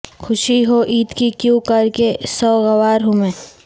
خوشی ہو عید کی کیوںکر کہ سوگوار ہوں میں